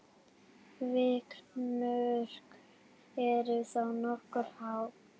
Vikmörk eru þá nokkuð há.